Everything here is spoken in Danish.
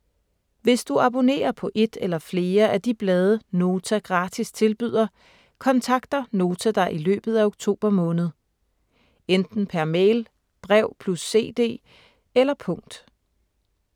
Hvis du abonnerer på et eller flere af de blade Nota gratis tilbyder, kontakter Nota dig i løbet af oktober måned. Enten per mail, brev + cd eller punkt.